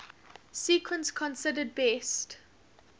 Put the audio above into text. sequence considered best